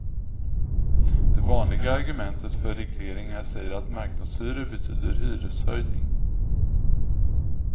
Det vanliga argumentet för regleringar säger att marknadshyror betyder hyreshöjning.